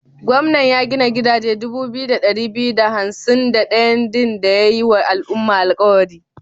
Gwamnan ya gina gidaje dubu biyu da ɗari biyu da hansim da ɗayan din da ya yi wa al'umma alkawari?